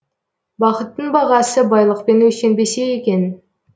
бақыттың бағасы байлықпен өлшенбесе екен